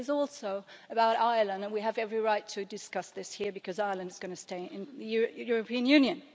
It is also about Ireland and we have every right to discuss this here because Ireland is going to stay in the European Union.